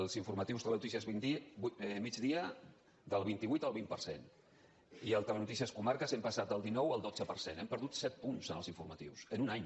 els informatius telenotícies migdia del vint vuit al vint per cent i al telenotícies comarques hem passat del dinou al dotze per cent hem perdut set punts en els informatius en un any